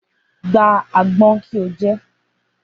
Gba àgbọn ko jẹ́